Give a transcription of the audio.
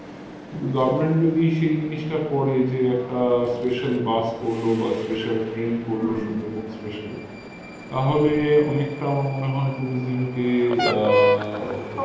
কিন্তু government যদি সেই জিনিসটা করে যে একটা special bus করলো বা special train করলো সুন্দরবন special তাহলে অনেকটা আমার মনে হয় tourism কে আহ